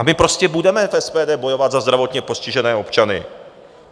A my prostě budeme v SPD bojovat za zdravotně postižené občany.